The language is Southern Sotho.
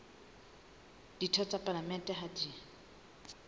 ditho tsa palamente ha di